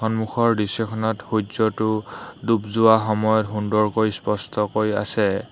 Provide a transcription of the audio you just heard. সন্মুখৰ দৃশ্যখনত সূৰ্য্যটো ডুব যোৱা সময়ত সুন্দৰকৈ স্পষ্টকৈ আছে।